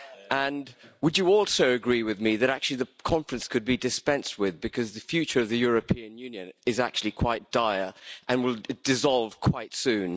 And would you also agree with me that the conference could actually be dispensed with, because the future of the European Union is actually quite dire and will dissolve quite soon?